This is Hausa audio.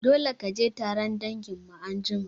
Dole kaje taron danginmu anjima